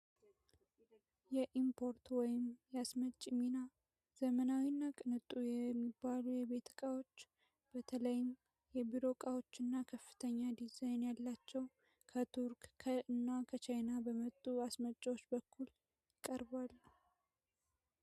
የኢምፖርት ወይም ያስመጭ ሚና ዘመናዊ እና ቅንጡ የሚባሉ የቤት ቃዎች በተላይም የቢሮ እቃዎች እና ከፍተኛ ዲዛይን ያላቸው ከቱርክ እና ከቻይና በመጡ አስመጫዎች በኩል ይቀርባል።